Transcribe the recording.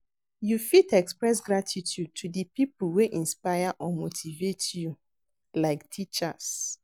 You fit express gratitude to di people wey inspire or motivate you, like teachers.